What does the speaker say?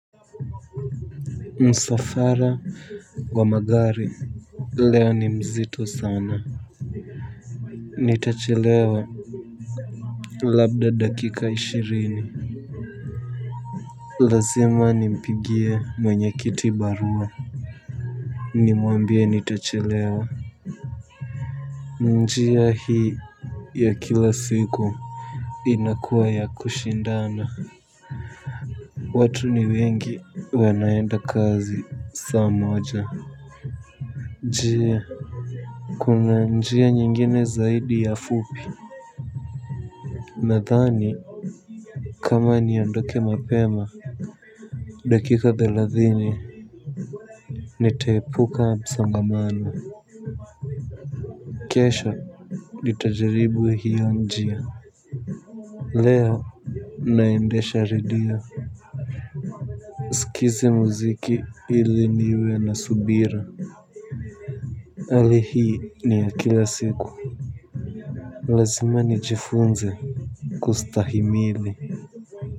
Msafara wa magari leo ni mzito sana. Nitachelewa labda dakika ishirini. Lazima nimpigie mwenyekiti barua. Nimuambie nitachelewa. Njia hii ya kila siku inakua ya kushindana. Watu ni wengi wanaenda kazi saa moja. Je, kuna njia nyingine zaidi ya fupi? Nadhani kama niondoke mapema dakika thelathini. Nitaepuka msongamano. Kesho nitajaribu hiyo njia. Leo naendesha redio sikize muziki ili niwe na subira. Hali hii ni ya kila siku. Lazima nijifunze kustahimili.